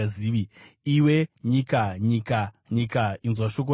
Iwe nyika, nyika, nyika, inzwa shoko raJehovha!